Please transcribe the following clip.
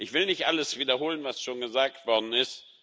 Ich will nicht alles wiederholen, was schon gesagt worden ist.